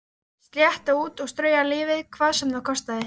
Slétta út og strauja lífið hvað sem það kostaði.